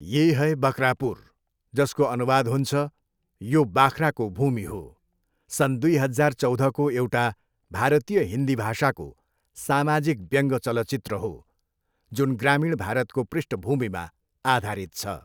ये है बकरापुर जसको अनुवाद हुन्छ, यो बाख्राको भूमि हो, सन् दुई हजार चौधको एउटा भारतीय हिन्दी भाषाको सामाजिक व्यङ्ग्य चलचित्र हो जुन ग्रामीण भारतको पृष्ठभूमिमा आधारित छ।